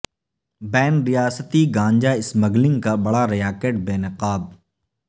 بین ریاستی گانجہ اسمگلنگ کا بڑا ریاکٹ بے نقاب